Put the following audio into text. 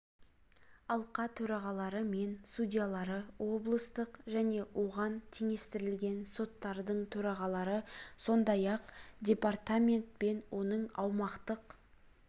алқа төрағалары мен судьялары облыстық және оған теңестірілген соттардың төрағалары сондай-ақ департамент пен оның аумақтық